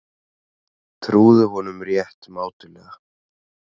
Trúðu honum rétt mátulega.